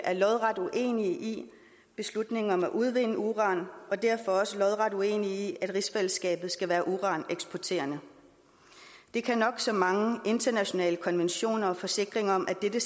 er lodret uenige i beslutningen om at udvinde uran og derfor også lodret uenige i at rigsfællesskabet skal være uraneksporterende det kan nok så mange internationale konventioner og forsikringer om at dette